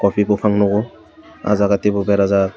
kopi buphang nukgo ah jaga teibo berajak.